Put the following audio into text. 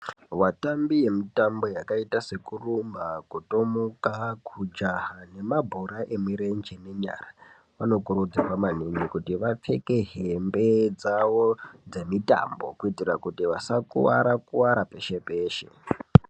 Vatambi vemitambo yakaita sekurumba, kutomuka, kujaha nemabhora emurenje nemunyara vanokurudzirwa maningi kuti vapfeke hembe dzavo dzemitambo kuti vasakuwara kuwara peshe peshe.